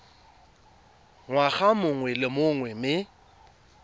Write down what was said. ngwaga mongwe le mongwe mme